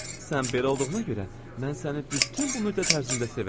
Sən belə olduğuna görə mən səni bütün bu müddət ərzində sevəcəm.